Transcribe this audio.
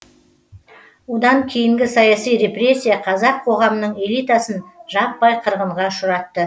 одан кейінгі саяси репрессия қазақ қоғамының элитасын жаппай қырғынға ұшыратты